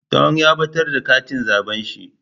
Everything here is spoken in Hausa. Dung ya batar da katin zabe shi.